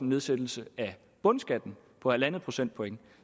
nedsættelse af bundskatten på en procentpoint